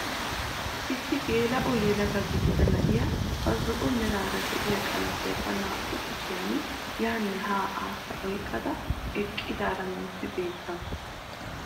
Issi geela'o yelaga gidida na'iyaa ba zo'o meraara de'iyaa qamisiyaa ba naa"u kushiyaan yaanne haa aassa oyqqada eqqidaara nuusi beettawus.